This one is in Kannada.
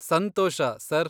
ಸಂತೋಷ, ಸರ್.